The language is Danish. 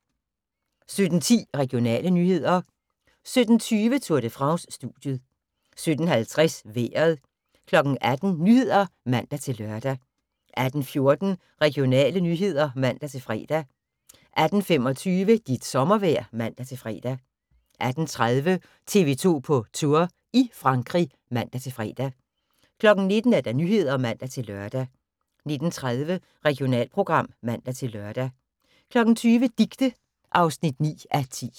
17:10: Regionale nyheder 17:20: Tour de France: Studiet 17:50: Vejret 18:00: Nyhederne (man-lør) 18:14: Regionale nyheder (man-fre) 18:25: Dit sommervejr (man-fre) 18:30: TV 2 på Tour – i Frankrig (man-fre) 19:00: Nyhederne (man-lør) 19:30: Regionalprogram (man-lør) 20:00: Dicte (9:10)